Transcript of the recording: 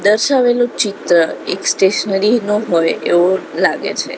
દર્શાવેલું ચિત્ર એક સ્ટેશનરી નું હોય એવું લાગે છે.